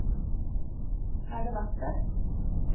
Er det verdt det?